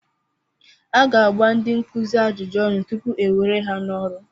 A ga-agba ndị nkuzi ajụjụ ọnụ tupu e were ha n'ọrụ.